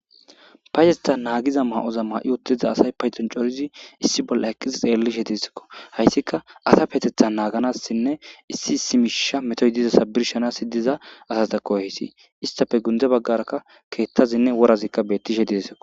payetha naagiza ma'oza ma'i wotiza asay payton corizi issi bolla eqqisi xeellishe dieskko hayssika asa petetha naaganassinne issi issi misha metoy dizasa birshanasi diza asatako haysi istafe gunde baggaraka keettazinne worazikka bettishe deesikko